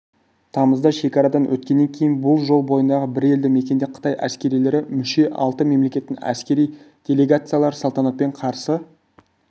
тамызда шекарадан өткеннен кейін жол бойындағы бір елді мекенде қытай әскерилері мүше алты мемлекеттің әскери делегацияларын салтанатпен қарсы